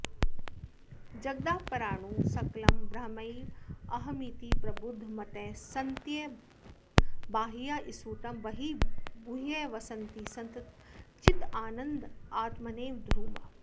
जगदापराणु सकलं ब्रह्मैवाहमिति प्रबुद्धमतयः सन्त्यक्तबाह्याः स्फुटं ब्रह्मीभूय वसन्ति सन्ततचिदानन्दात्मनैतद्ध्रुवम्